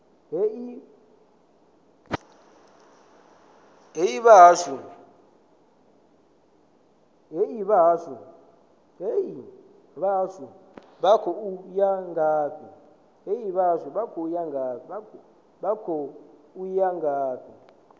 hee vhahashu vha khou ya ngafhi